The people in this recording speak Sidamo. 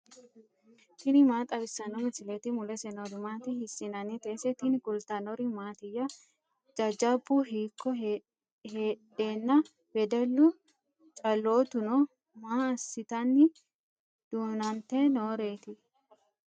tini maa xawissanno misileeti ? mulese noori maati ? hiissinannite ise ? tini kultannori mattiya? Jajabbu hiikko heedhenna wedellu caloottu noo? maa assitanni duunnanitte nooreetti?